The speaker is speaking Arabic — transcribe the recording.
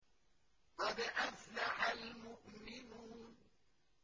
قَدْ أَفْلَحَ الْمُؤْمِنُونَ